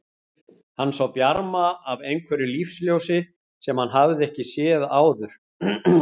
Hann sá bjarma af einhverju lífsljósi sem hann hafði ekki séð áður.